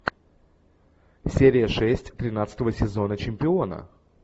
серия шесть тринадцатого сезона чемпиона